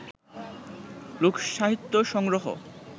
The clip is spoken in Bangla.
লোকসাহিত্য সংগ্রহ